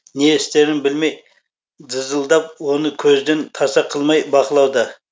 не істерін білмей дызылдап оны көзден таса қылмай бақылауда